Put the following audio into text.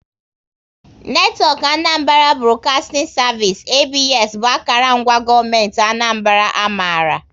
Netwọk Anambra Broadcasting Service (ABS) bụ akara ngwa gọọmenti Anambra a maara